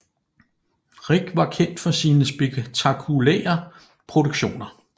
Rich var kendt for sine spektakulære produktioner